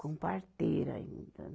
Com parteira ainda